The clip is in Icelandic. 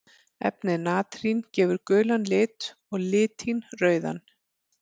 Efnið natrín gefur gulan lit og litín rauðan.